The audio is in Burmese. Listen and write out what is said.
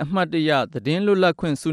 အမြတ်တရ သတင်းလြတ်လပ်ခြင့်ဆု